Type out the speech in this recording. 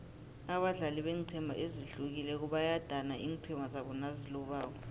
abadlali beenqhema ezihlukileko bayadana iinqhema zabo nazilobako